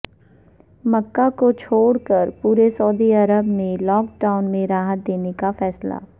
مکہ کو چھوڑ کر پورے سعودی عرب میں لاک ڈاون میں راحت دینے کا فیصلہ